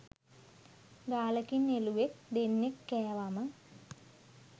ගාලකින් එළුවෙක් දෙන්නෙක් කෑවම